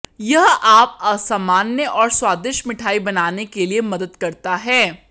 यह आप असामान्य और स्वादिष्ट मिठाई बनाने के लिए मदद करता है